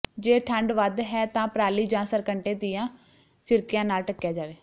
ਜੇ ਠੰਢ ਵੱਧ ਹੈ ਤਾਂ ਪਰਾਲੀ ਜਾਂ ਸਰਕੰਡੇ ਦੀਆਂ ਸਿਰਕੀਆਂ ਨਾਲ ਢੱਕਿਆ ਜਾਵੇ